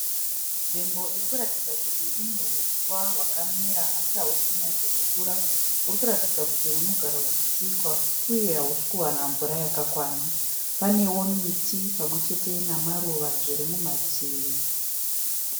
Nzvimbo irikuratidza kuti ine uswa hwakamira asi hausi kunyatsokukura, huri kuratidza kuti hunogara huchitsikwa uye hausi kuwana mvura yakakwana. Panewo miti pamwe chete namaruva zviri mumativi.